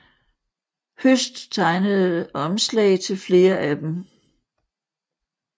Høst tegnede omslag til flere af dem